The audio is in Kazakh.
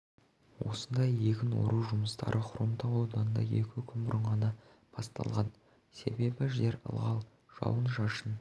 осындай егін ору жұмыстары хромтау ауданында екі күн бұрын ғана басталған себебі жер ылғал жауын-шашын